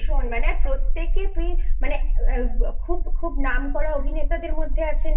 ভীষণ মানে প্রত্যেকে তুই মানে খুব নাম করা অভিনেতাদের মধ্যে আছে